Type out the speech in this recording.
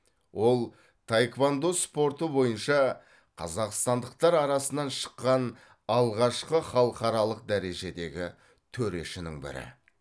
ол таеквондо спорты бойынша қазақстандықтар арасынан шыққан алғашқы халықаралық дәрежедегі төрешінің бірі